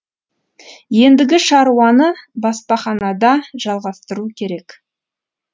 ендігі шаруаны баспаханада жалғастыру керек